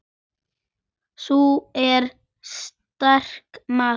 Sú er sterk, maður!